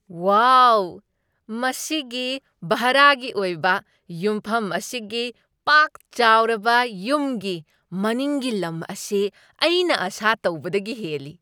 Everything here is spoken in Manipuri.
ꯋꯥꯎ, ꯃꯁꯤꯒꯤ ꯚꯔꯥꯒꯤ ꯑꯣꯏꯕ ꯌꯨꯝꯐꯝ ꯑꯁꯤꯒꯤ ꯄꯥꯛ ꯆꯥꯎꯔꯕ ꯌꯨꯝꯒꯤ ꯃꯅꯤꯡꯒꯤ ꯂꯝ ꯑꯁꯤ ꯑꯩꯅ ꯑꯥꯁꯥ ꯇꯧꯕꯗꯒꯤ ꯍꯦꯜꯂꯤ!